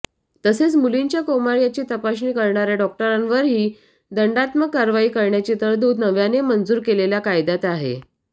तसंच मुलींच्या क्रौमार्याची तपासणी करणाऱ्या डॉक्टरांवरही दंडात्मक कारवाई करण्याची तरतूद नव्याने मंजूर केलेल्या कायद्यात आहे